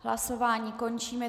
Hlasování končím.